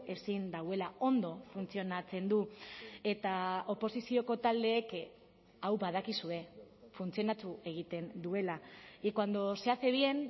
ezin duela ondo funtzionatzen du eta oposizioko taldeek hau badakizue funtzionatu egiten duela y cuando se hace bien